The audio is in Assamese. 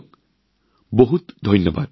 আপোনালোক সকলোকে অশেষ ধন্যবাদ